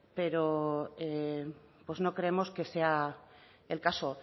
pero pues no creemos que sea el caso